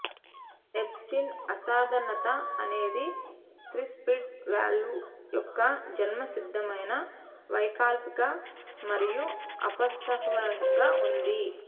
ఎబ్ Stein అసాధారణత అనేది tricuspid valve యొక్క జన్మసిద్ధమైన వైకల్పిక మరియు అపసవ్యంగా ఉంది